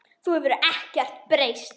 Þú hefur ekkert breyst.